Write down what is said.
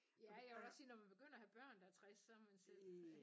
Ja jeg vil også sige når man begynder at have børn der er 60 så er man selv